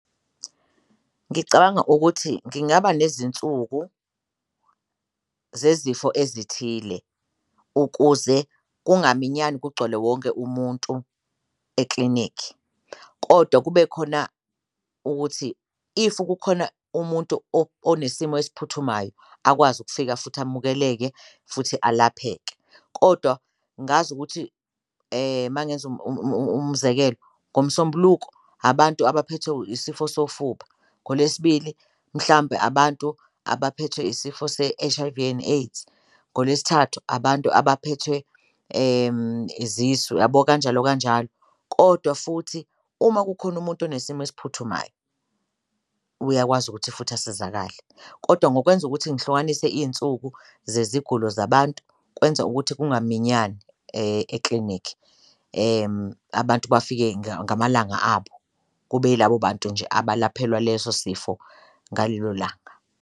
Ngicabanga ukuthi ngingaba nezinsuku zezifo ezithile ukuze kungaminyani kugcwale wonke umuntu eklinikhi kodwa kube khona ukuthi if kukhona umuntu onesimo esiphuthumayo akwazi ukufika futhi amukeleke futhi alapheke. Kodwa ngazi ukuthi uma ngenza umzekelo, ngoMsombuluko abantu abaphethwe isifo sofuba, ngoLwesibili mhlampe abantu abaphethwe isifo se-H_I_V and AIDS, ngoLwesithathu abantu abaphethwe izisu uyabo, kanjalo kanjalo. Kodwa futhi uma kukhona umuntu onesimo esiphuthumayo uyakwazi ukuthi futhi asizakale kodwa ngokwenza ukuthi ngihlukanise iy'nsuku zezigulo zabantu kwenza ukuthi kungaminyani eklinikhi, abantu bafike ngamalanga abo kube ilabo bantu nje abalaphelwa leso sifo ngalelo langa.